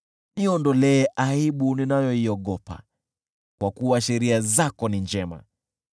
Niondolee aibu ninayoiogopa, kwa kuwa sheria zako ni njema.